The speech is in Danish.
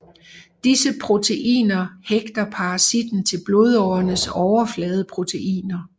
Disse proteiner hægter parasitten til blodårenes overfladeproteiner